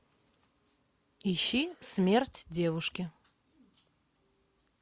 ищи смерть девушки